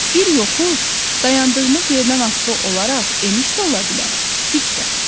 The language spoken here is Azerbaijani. Bir yoxuş dayandığımız yerdən asılı olaraq eniş də ola bilər, dik də.